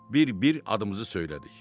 Bir-bir adımızı söylədik.